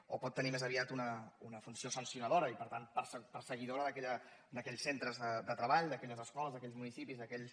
o pot tenir més aviat una funció sancionadora i per tant perseguidora d’aquells centres de treball d’aquelles escoles aquells municipis aquells